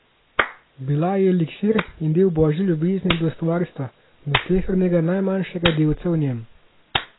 Bila je eliksir in del Božje ljubezni do Stvarstva, do slehernega najmanjšega delca v njem.